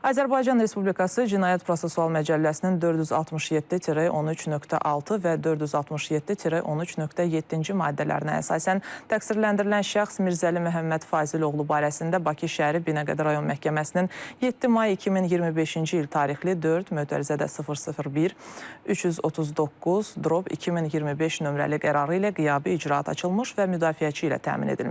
Azərbaycan Respublikası Cinayət Prosessual Məcəlləsinin 467-13.6 və 467-13.7-ci maddələrinə əsasən təqsirləndirilən şəxs Mirzəli Məhəmməd Fazil oğlu barəsində Bakı şəhəri Binəqədi rayon məhkəməsinin 7 may 2025-ci il tarixli 4 (001) 339/2025 nömrəli qərarı ilə qiyabi icraat açılmış və müdafiəçi ilə təmin edilmişdir.